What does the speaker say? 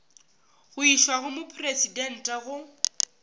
go išwa go mopresidente go